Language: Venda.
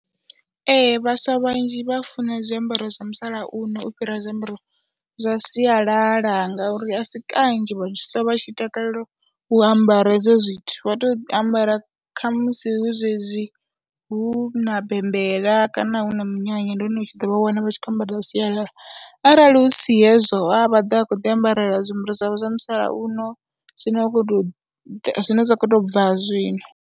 Ee, vhaswa vhanzhi vha funa zwiambaro zwa musalauno u fhira zwiambaro zwa sialala ngauri a si kanzhi vhaswa vha tshi takalela u ambara hezwo zwithu, vha tou ambara khamusi hu zwezwi hu na bembela kana hu na minyanya, ndi hone u tshi ḓo vha wana vha tshi khou ambara zwa sialala arali hu si hezwo vha ḓo vha vha khou ḓiambarela zwiambaro zwavho zwa musalauno zwine wa khou tou ḓi zwine zwa khou tou bva zwino.